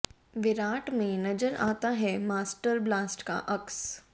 विराट में नजर आता है मास्टर ब्लास्ट का अक्स